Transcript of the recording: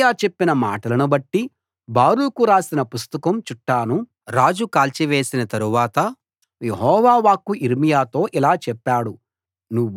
యిర్మీయా చెప్పిన మాటనుబట్టి బారూకు రాసిన పుస్తకం చుట్టను రాజు కాల్చివేసిన తరువాత యెహోవా వాక్కు యిర్మీయాతో ఇలా చెప్పాడు